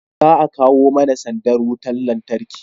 za a kawo mana sandar wutar lantarki